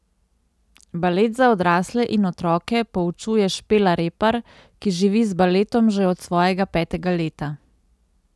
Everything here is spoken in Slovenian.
Balet za odrasle in otroke poučuje Špela Repar, ki živi z baletom že od svojega petega leta.